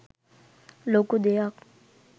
ලොකු දෙයක්